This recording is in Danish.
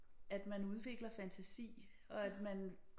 At man udvikler fantasi og at man